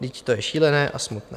Vždyť to je šílené a smutné."